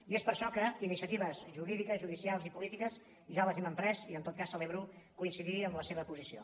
i és per això que iniciatives jurídiques judicials i polítiques ja les hem emprès i en tot cas celebro coincidir en la seva posició